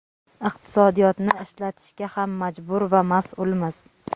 iqtisodiyotni ishlatishga ham majbur va mas’ulmiz.